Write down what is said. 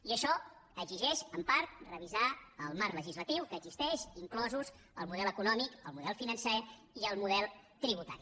i això exigeix en part revisar el marc legislatiu que existeix inclosos el model econòmic el model financer i el model tributari